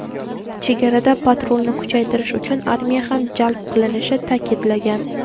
chegarada patrulni kuchaytirish uchun armiya ham jalb qilinishini ta’kidlagan.